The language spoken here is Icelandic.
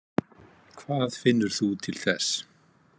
Hvað finnur þú til þess?